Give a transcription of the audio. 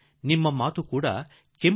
ನಿಮ್ಮ ಮನಸ್ಸಿನಲ್ಲೂ ಕೆಲವು ಸಂಗತಿಗಳಿರಬಹುದು